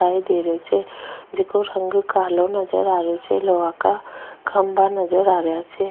दिखाई दे रहे छे जेको रंग कालो नज़र आ रेहो छे लोहा का खम्भों नजर आ रेहा छे।